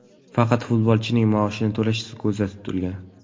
Faqat futbolchining maoshini to‘lashi ko‘zda tutilgan.